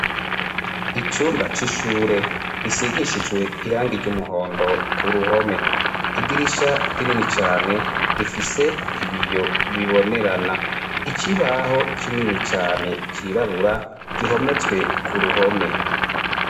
icumba c'ishure risigishijwe irangi ry'umuhondo ku ruhome idirisha rinini cane rifise ibiyo bibonerana ikibaho kinini cane cirabura gihometswe ku ruhome